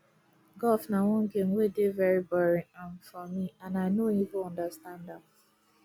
golf na one game wey dey very boring um for me and i no even understand am